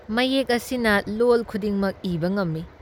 ꯃꯌꯦꯛ ꯑꯁꯤꯅ ꯂꯣꯜ ꯈꯨꯗꯤꯡꯃꯛ ꯏꯕ ꯉꯝꯃꯤ ꯫